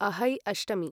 अहै अष्टमी